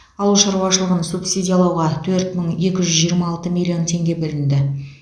ауыл шаруашылығын субсидиялауға төрт мың екі жүз жиырма алты миллион теңге бөлінді